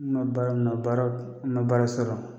N ma baara, n ma baara , n ma baara sɔrɔ.